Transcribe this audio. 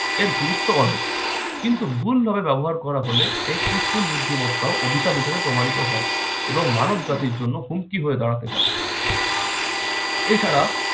এর গুরুত্ব অনেক। কিন্তু ভুল ভাবে ব্যবহার করা হলে এই কৃত্রিম বুদ্ধিমত্তাও অভিশাপ হিসেবে প্রমাণিত হয় এবং মানবজাতির জন্য হুমকি হয়ে দাঁড়াতে পারে। এছাড়া